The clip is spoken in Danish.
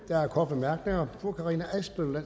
der er korte bemærkninger fru karina adsbøl